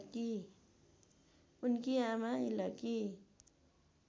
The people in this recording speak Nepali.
उनकी आमा इलकी